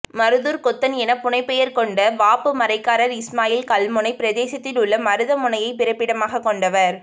மருதூர்க்கொத்தன் என புனை பெயர் கொண்ட வாப்பு மரைக்கார் இஸ்மாயில் கல்முனைப் பிரதேசத்திலுள்ள மருதமுனையைப் பிறப்பிடமாகக் கொண்டவர்